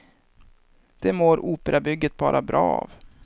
Det mår operabygget bara bra av.